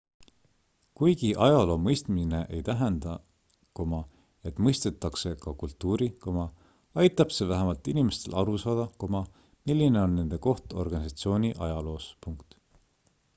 kuigi ajaloo mõistmine ei tähenda et mõistetakse ka kultuuri aitab see vähemalt inimestel aru saada milline on nende koht organisatsiooni ajaloos